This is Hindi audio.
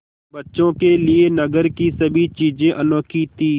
बच्चों के लिए नगर की सभी चीज़ें अनोखी थीं